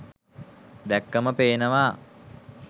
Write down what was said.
දැක්කම පේනවා.